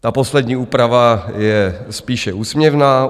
Ta poslední úprava je spíše úsměvná.